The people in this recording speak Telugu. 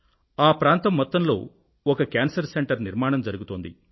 ఆ ప్రాంతం మొత్తంలో ఒక కేన్సర్ సెంటర్ నిర్మాణం జరుగుతోంది